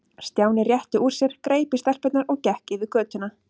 Stjáni rétti úr sér, greip í stelpurnar og gekk yfir götuna.